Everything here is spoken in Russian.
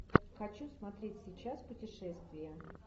хочу смотреть сейчас путешествие